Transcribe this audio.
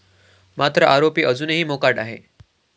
मात्र आरोपी अजूनही मोकाट आहेत.